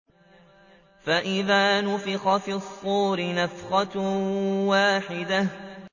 فَإِذَا نُفِخَ فِي الصُّورِ نَفْخَةٌ وَاحِدَةٌ